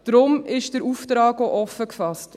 Darum ist der Auftrag auch offen gefasst.